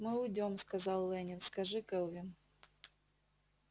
мы уйдём сказал лэннинг скажи кэлвин